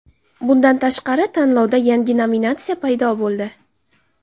Bundan tashqari, tanlovda yangi nominatsiya paydo bo‘ldi.